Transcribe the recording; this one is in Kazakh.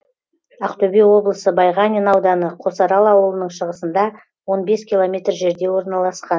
ақтөбе облысы байғанин ауданы қосарал ауылының шығысында он бес километр жерде орналасқан